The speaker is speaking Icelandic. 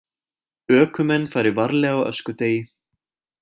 Ökumenn fari varlega á öskudegi